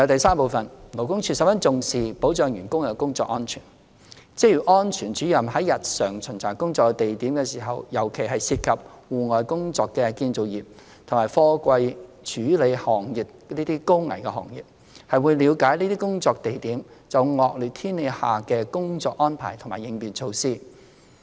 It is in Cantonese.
三勞工處十分重視保障僱員的工作安全，職業安全主任在日常巡查工作地點時，尤其是涉及戶外工作的建造業及貨櫃處理行業等高危行業，會了解這些工作地點就惡劣天氣下的工作安排及應變措施。